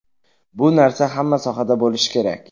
Bu narsa hamma sohada bo‘lishi kerak.